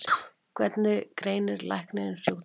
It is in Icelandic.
Hvernig greinir læknirinn sjúkdóminn?